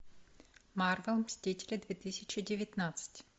марвел мстители две тысячи девятнадцать